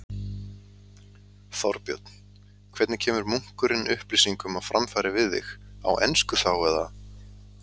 Þorbjörn: Hvernig kemur munkurinn upplýsingum á framfæri við þig, á ensku þá, eða?